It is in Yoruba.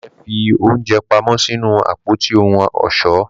Danial fi oúnjẹ pamọ́ sínú Àpótí ohun ọ̀ṣọ́.